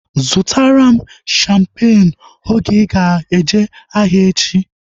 Zụtara m shampeenu oge ịga eje ahịa echi!